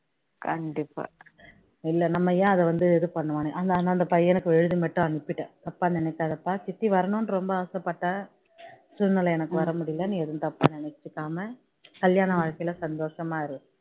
கண்டிப்பா இல்லை நம்ம என அதை வந்து இது பண்ணனும் அந்த பையனுக்கு எழுது மட்டும் அனுப்பிட்டேன் தப்பா நினைக்காதப்பா சித்தி வரணும்னு ரொம்ப ஆசை பட்டேன் சூழ்நிலை எனக்கு வர முடியல நீ எதும் தப்பா நினைச்சிகாம்ம கல்யாண வாழ்க்கையில சந்தோஷமா இரு